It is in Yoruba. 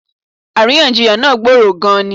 Àríyànjiyàn náà gboró gan-an ni.